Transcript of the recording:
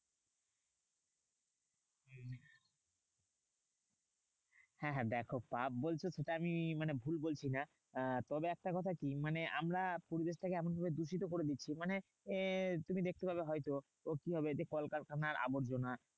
হ্যাঁ হ্যাঁ দেখো পাপ বলছো সেটা আমি মানে ভুল বলছি না। তবে একটা কথা কি? মানে আমরা পরিবেশটাকে এমনভাবে দূষিত করে দিচ্ছি। মানে এ তুমি দেখতে পাবে হয়ত, কিভাবে? যে কলকারখানার আবর্জনা